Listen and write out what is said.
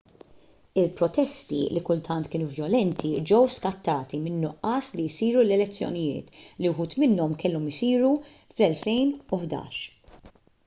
il-protesti li kultant kienu vjolenti ġew skattati min-nuqqas li jsiru l-elezzjonijiet li uħud minnhom kellhom isiru fl-2011